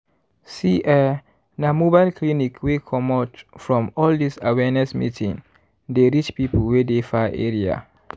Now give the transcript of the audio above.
see eeh na mobile clinic wey comot from all this awareness meeting dey reach people wey dey far area.